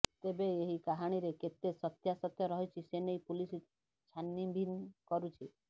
ତେବେ ଏହି କାହାଣୀରେ କେତେ ସତ୍ୟାସତ୍ୟ ରହିଛି ସେନେଇ ପୁଲିସ ଛାନିବିନ କରୁଛି